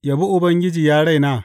Yabi Ubangiji, ya raina.